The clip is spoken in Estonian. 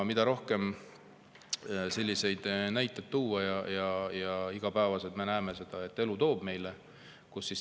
Ja selliseid näiteid palju tuua, me iga päev näeme seda, et elu toob neid meile juurde.